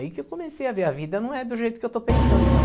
Aí que eu comecei a ver a vida não é do jeito que eu estou pensando, não.